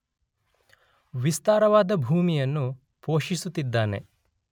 ವಿಸ್ತಾರವಾದ ಭೂಮಿಯನ್ನು ಪೋಷಿಸುತ್ತಿದ್ದಾನೆ.